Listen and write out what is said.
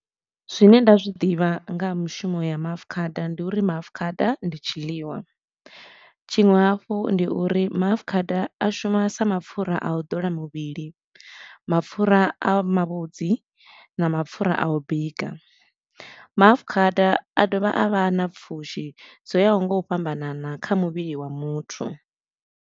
Zwine nda zwi ḓivha nga ha mushumo ya maafukhada, ndi uri maafukhada ndi tshiḽiwa. Tshiṅwe hafhu ndi uri maafukhada a shuma sa mapfura a u dola muvhili, mapfura a mavhudzi na mapfura a u bika. Maafukhada a dovha a vha na pfushi dzo yaho nga u fhambanana kha muvhili wa muthu.